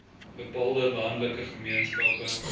bepaalde landelike gemeenskappe